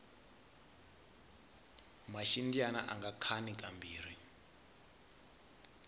maxindyani anga khani ka mbirhi